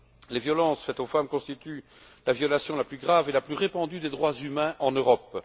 Les violences faites aux femmes constituent la violation la plus grave et la plus répandue des droits humains en Europe.